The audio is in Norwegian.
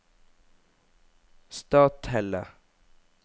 Stathelle